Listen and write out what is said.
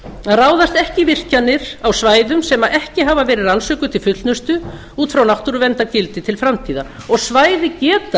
að ráðast ekki í virkjanir á svæðum sem ekki hafa verið rannsökuð til fullnustu út frá náttúruverndargildi til framtíðar og svæði geta